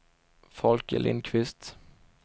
Folke Lindkvist